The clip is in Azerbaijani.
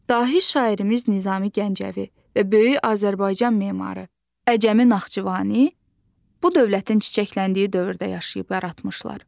Dahi şairimiz Nizami Gəncəvi və böyük Azərbaycan memarı Əcəmi Naxçıvani bu dövlətin çiçəkləndiyi dövrdə yaşayıb yaratmışlar.